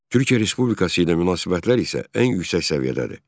Türkiyə Respublikası ilə münasibətlər isə ən yüksək səviyyədədir.